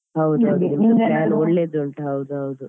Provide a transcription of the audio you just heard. ಹೌದ ಒಳ್ಳೆದುಂಟು ಹೌದು ಹೌದು.